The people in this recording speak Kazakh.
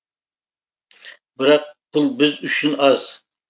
бірақ бұл біз үшін аз